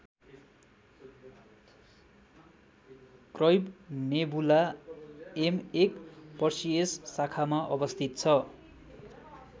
Crab nebula M १ Perseus शाखामा अवस्थित छ।